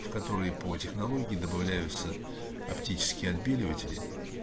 в которые по технологии добавляются оптические отбеливатели